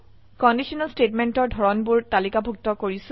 conditional স্টেটমেন্টৰ ধৰনবোৰ তালিকাভুক্ত কৰিছে